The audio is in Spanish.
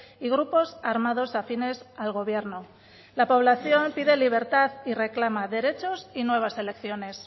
y grupos armados afines al gobierno la población pide libertad y reclama derechos y nuevas elecciones